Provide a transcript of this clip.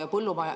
Aeg, Riina!